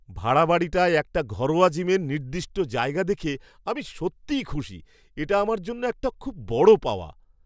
ভাড়া বাড়িটায় একটা ঘরোয়া জিমের নির্দিষ্ট জায়গা দেখে আমি সত্যিই খুশি, এটা আমার জন্য একটা খুব বড় পাওয়া।